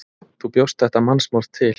Þú bjóst þetta mannsmorð til.